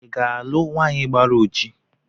ị ga-alụ nwanyị gbara ọjii?